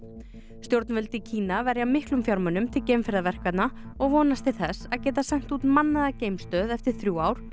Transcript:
stjórnvöld í Kína verja miklum fjármunum til og vonast til þess að geta sent út mannaða geimstöð eftir þrjú ár